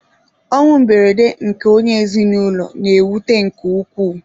Ọnwụ mberede nke onye ezinụlọ na-ewute nke ukwuu.